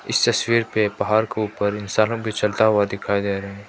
इस तस्वीर पे पहाड़ के ऊपर इंसानों भी चलता हुआ दिखाई दे रा--